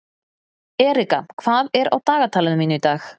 Erika, hvað er á dagatalinu mínu í dag?